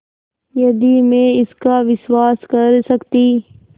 यदि मैं इसका विश्वास कर सकती